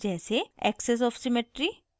axis of symmetry